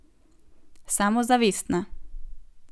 Samozavestna.